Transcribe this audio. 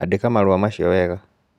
Andĩka marũa macio wega.